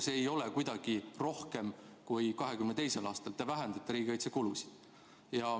Seda ei ole kuidagi rohkem kui 2022. aastal, te vähendate riigikaitsekulusid.